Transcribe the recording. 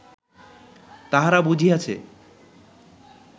"তাহারা বুঝিয়াছে